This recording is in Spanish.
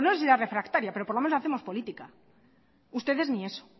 pues no sé si será refractaria pero por lo menos hacemos política ustedes ni eso